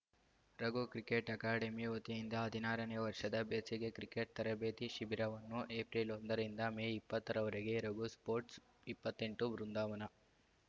Raghu cricket academy ವತಿಯಿಂದ ಹದಿನಾರ ನೇ ವರ್ಷದ ಬೇಸಿಗೆ ಕ್ರಿಕೆಟ್ ತರಬೇತಿ ಶಿಬಿರವನ್ನು ಏಫ್ರಿಲ್ ಒಂದ ರಿಂದ ಮೇ ಇಪ್ಪತ್ತ ರವರೆಗೆ ರಘು ಸ್ಪೋರ್ಟ್ಸ್ ಇಪ್ಪತ್ತ್ ಎಂಟು ಬೃಂದಾವನ